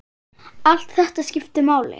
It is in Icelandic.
Allt þetta skiptir máli.